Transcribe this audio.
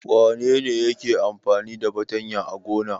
Wane ne yake amfani da fatanya a gona?